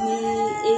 Ni